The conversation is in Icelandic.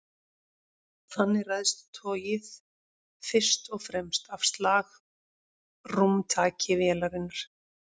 Þannig ræðst togið fyrst og fremst af slagrúmtaki vélarinnar.